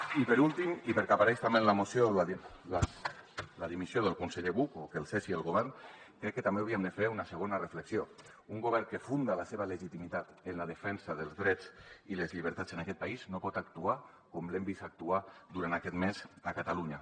i per últim i perquè apareix també en la moció la dimissió del conseller buch o que el cessi el govern crec que també hauríem de fer una segona reflexió un govern que funda la seva legitimitat en la defensa dels drets i les llibertats en aquest país no pot actuar com l’hem vist actuar durant aquest mes a catalunya